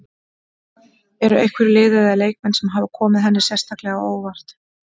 Eru einhver lið eða leikmenn sem hafa komið henni sérstaklega á óvart?